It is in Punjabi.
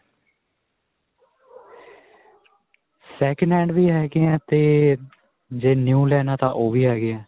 second hand ਵੀ ਹੈਗੇ ਹੈ 'ਤੇ ਜੇ new ਲੈਣਾਂ ਤਾਂ ਓਹ ਵੀ ਹੈਗੇ ਹੈ.